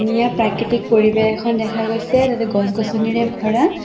ইয়াত প্ৰাকৃতিক পৰিৱেশ এখন দেখা গৈছে তাতে গছ গছনিৰে ভৰা।